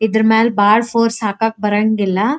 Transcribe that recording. ಇದರ ಮೇಲೆ ಬಹಳ ಫೋರ್ಸ್ ಹಾಕಕ್ ಬರಂಗಿಲ್ಲ.